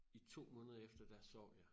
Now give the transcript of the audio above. I 2 måneder efter der sov jeg